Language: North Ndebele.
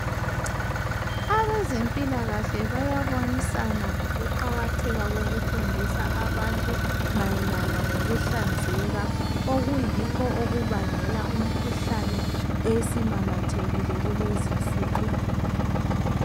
Abezempilakahle bayabonisana ngokuqakatheka kokufundisa abantu mayelana ngokuhlanzeka. Okuyikho okubangela imikhuhlane, esimamathekile kulezi insuku.